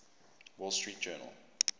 wall street journal